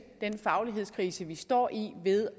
den faglighedskrise vi står i ved